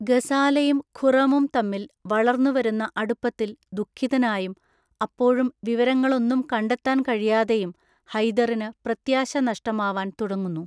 ഗസാലയും ഖുറമും തമ്മിൽ വളർന്നു വരുന്ന അടുപ്പത്തിൽ ദുഃഖിതനായും അപ്പോഴും വിവരങ്ങളൊന്നും കണ്ടെത്താൻ കഴിയാതെയും ഹൈദറിന് പ്രത്യാശ നഷ്ടമാവാൻ തുടങ്ങുന്നു.